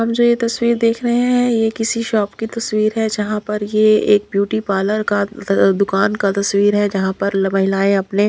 हम जो ये तस्वीर देख रहे हैं ये किसी शॉप की तस्वीर है जहां पर ये एक ब्यूटी पार्लर का दुकान का तस्वीर है जहां पर महिलाएं अपने--